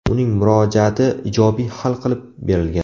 Uning murojaati ijobiy hal qilib berilgan.